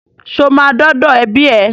Ṣo máa dọ́dọ̀ ẹbí ẹ?